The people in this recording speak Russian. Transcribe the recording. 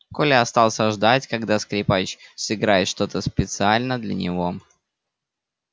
коля остался ждать когда скрипач сыграет что то специально для него